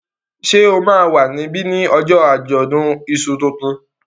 Ṣé o máa wà níbí ní ojó àjọ̀dún iṣu tuntun?